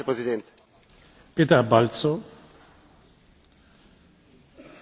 Hétfőn lehet, hogy Ön, itt a napirend vitáján egy rágalmat mondott el.